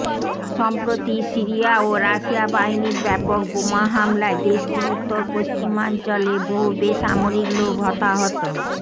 সম্প্রতি সিরিয়া ও রাশিয়া বাহিনীর ব্যাপক বোমা হামলায় দেশটির উত্তর পশ্চিমাঞ্চলে বহু বেসামরিক লোক হতাহত